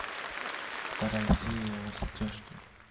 вторая серия во все тяжкие